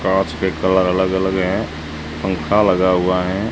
कांच के कलर अलग अलग है पंखा लगा हुआ है।